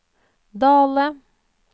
Dale